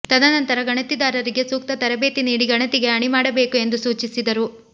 ತದನಂತರ ಗಣತಿದಾರರಿಗೆ ಸೂಕ್ತ ತರಬೇತಿ ನೀಡಿ ಗಣತಿಗೆ ಅಣಿ ಮಾಡಬೇಕು ಎಂದು ಸೂಚಿಸಿದರು